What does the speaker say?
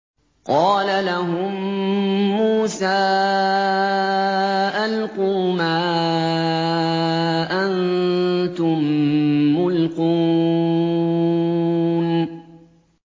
قَالَ لَهُم مُّوسَىٰ أَلْقُوا مَا أَنتُم مُّلْقُونَ